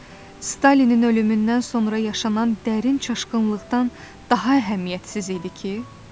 nidası Stalinin ölümündən sonra yaşanan dərin çaşqınlıqdan daha əhəmiyyətsiz idi ki?